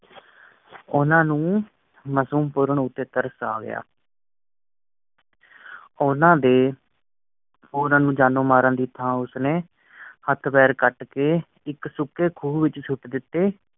ਉਹਨਾਂ ਨੂੰ ਮਸੂਮ ਪੂਰਣ ਉੱਤੇ ਉੱਤੇ ਤਰਸ ਆ ਗਿਆ ਉਹਨਾਂ ਦੇ ਹੋਰਾਂ ਨੂੰ ਜਾਨੋਂ ਮਾਰਨ ਦੀ ਥਾਂ ਉਸ ਨੇ ਹੱਥ ਪੀਰ ਕਟ ਕ ਇਕ ਸੂਕੀ ਕੂਹ ਵਿਚ ਸੁੱਟ ਦਿੱਤੇ